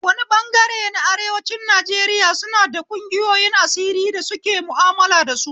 Wani bangare na arewacin Najeriya suna da ƙungiyoyin asiri da suke ma'amala da su